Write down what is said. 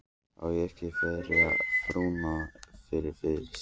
Á ég ekki að ferja frúna yfir fyrst?